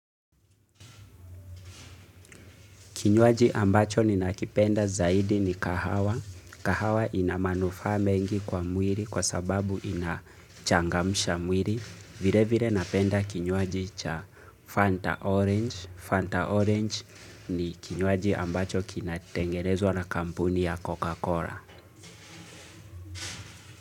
Kinywaji ambacho ninakipenda zaidi ni kahawa. Kahawa ina manufaa mengi kwa mwiri kwa sababu inachangamsha mwiri. Vire vire napenda kinywaji cha Fanta Orange. Fanta Orange ni kinywaji ambacho kina tengenewza na kampuni ya Coca-Cola.